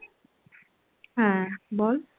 হ্যাঁ বল